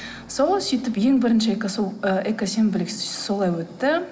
сол сөйтіп ең бірінші і экосенбілік солай өтті